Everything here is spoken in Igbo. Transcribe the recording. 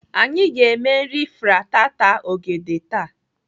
Anyị ga-eme nri fritata ogede taa.